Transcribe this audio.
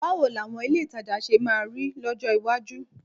Báwo làwọn ilé ìtajà ṣe máa rí lọ́jọ́ iwájú?